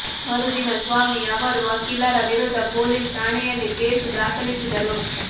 ಮರುದಿನ ಸ್ವಾಮಿ ಅವರು ವಕೀಲರ ವಿರುದ್ಧ ಪೋಲಿಸ್ ಠಾಣೆಯಲ್ಲಿ ಕೇಸು ದಾಖಲಿಸಿದರು